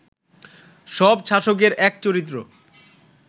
সব শাসকের এক চরিত্র